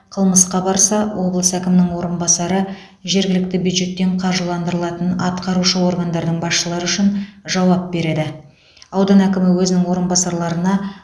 қылмысқа барса облыс әкімінің орынбасары жергілікті бюджеттен қаржыландырылатын атқарушы органдардың басшылары үшін жауап береді аудан әкімі өзінің орынбасарларына